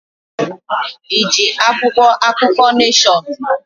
Iji akwụkwọ akụkọ Neshọn?